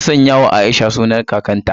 An sanyawa Aisha sunan kakarta.